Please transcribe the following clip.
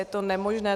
Je to nemožné.